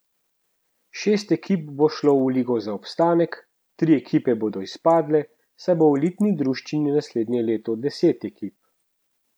Šest ekip bo šlo v ligo za obstanek, tri ekipe bodo izpadle, saj bo v elitni druščini naslednje leto deset ekip.